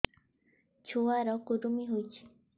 ଛୁଆ ର କୁରୁମି ହୋଇଛି